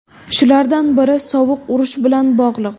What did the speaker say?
Shulardan biri Sovuq urush bilan bog‘liq.